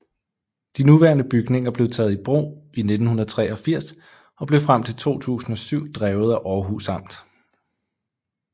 De nuværende bygninger blev taget i brug i 1983 og blev frem til 2007 drevet af Århus Amt